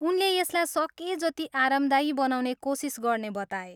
उनले यसलाई सकेजति आरामदायी बनाउने कोसिस गर्ने बताए।